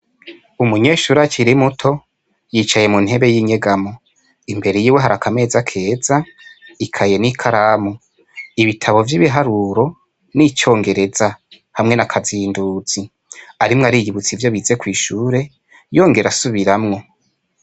Umunyeshure akiri muto yicaye mu ntebe y'inyegamo, imbere yiwe hari akameza keza, ikaye n'ikaramu, ibitabo vy'ibiharuro n'icongereza hamwe na kazinduzi. Arimwo ariyibutsa ivyo bize kw'ishure yongera asubiramwo.